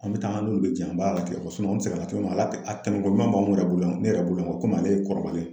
An bɛ taa an dun bɛ jɛn an b'a latigɛ an seginna cogo min na a tɛmɛ togoɲuman b'anw yɛrɛ bolo yan, ne yɛrɛ bolo yankomi ale ye kɔrɔbalen.